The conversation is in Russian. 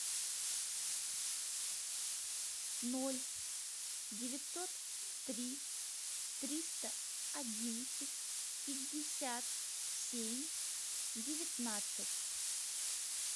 ноль девятьсот три триста одиннадцать пятьдесят семь девятнадцать